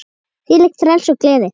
Þvílíkt frelsi og gleði.